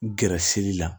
Gɛrɛsɛgɛli la